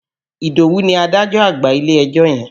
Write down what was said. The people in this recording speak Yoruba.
Ìdòwú ni adájọ́ àgbà ilé-ẹjọ́ yẹn.